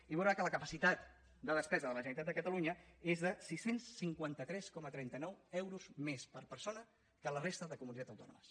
i veurà que la capacitat de despesa de la generalitat de catalunya és de sis cents i cinquanta tres coma trenta nou euros més per persona que la resta de comunitats autònomes